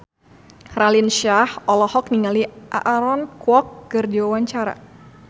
Raline Shah olohok ningali Aaron Kwok keur diwawancara